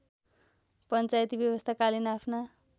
पञ्चायती व्यवस्थाकालीन आफ्ना